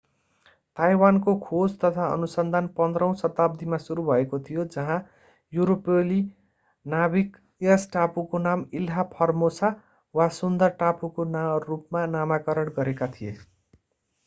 ताइवानको खोज तथा अनुसन्धान 15 औँ शताब्दीमा सुरु भएको थियो जहाँ युरोपेली नाविक यस टापुको नाम इल्हा फोर्मोसा वा सुन्दर टापुको रूपमा नामकरण गरेका थिए